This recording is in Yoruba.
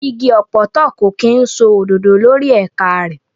Igi ọ̀pọ̀tọ́ kò kí ń so òdòdó lórí ẹ̀ka rẹ̀.